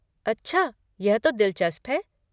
अच्छा, यह तो दिलचस्प है।